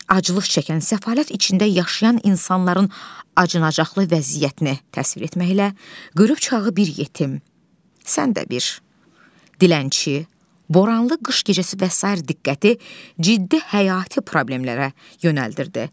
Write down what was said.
Aclıq çəkən, səfalət içində yaşayan insanların acınacaqlı vəziyyətini təsvir etməklə qırıqçağı bir yetim, sən də bir dilənçi, boranlı qış gecəsi və sair diqqəti ciddi həyati problemlərə yönəldirdi.